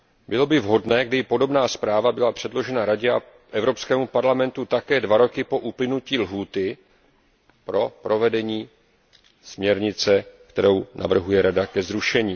Bylo by vhodné, kdyby podobná zpráva byla předložena Radě a Evropskému parlamentu také dva roky po uplynutí lhůty pro provedení směrnice, kterou navrhuje Rada zrušit.